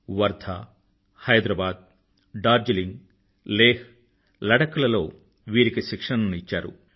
వర్ధా హైదరాబాద్ డార్జలింగ్ లేహ్లడక్ లలో వీరికి శిక్షణను ఇచ్చారు